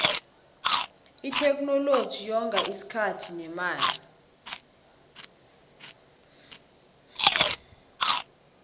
itheknoloji yonga isikhathi nemali